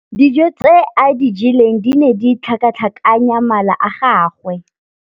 Dijô tse a di jeleng di ne di tlhakatlhakanya mala a gagwe.